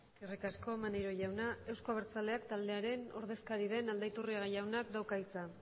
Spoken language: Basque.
eskerrik asko maneiro jauna euzko abertzaleak taldearen ordezkari den aldaiturriaga jaunak dauka hitza